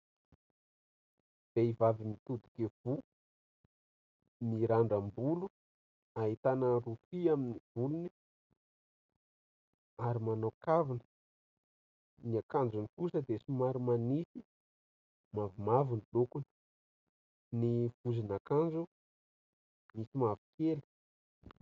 Vehivavy mitodika ivoho, mirandram-bolo, ahitana rofia amin'ny volony ary manao kavina ; ny akanjony kosa dia so mary manify mavomavo ny lokony ; ny vozon'ankanjo misy mavokely.